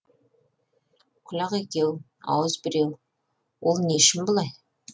құлақ екеу ауыз біреу ол не үшін бұлай